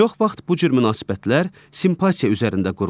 Çox vaxt bu cür münasibətlər simpatiya üzərində qurulur.